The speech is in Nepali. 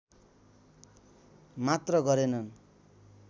मात्र गरेनन्